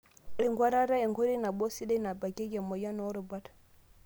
Enkuatata; enkoitoi nabo sidai nabakieki emoyian oo rubat.